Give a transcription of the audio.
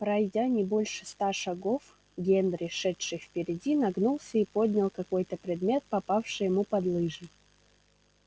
пройдя не больше ста шагов генри шедший впереди нагнулся и поднял какой то предмет попавший ему под лыжи